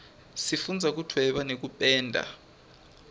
sifundza kudvweba nekupenda